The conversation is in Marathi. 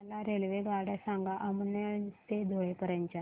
मला रेल्वेगाड्या सांगा अमळनेर ते धुळे पर्यंतच्या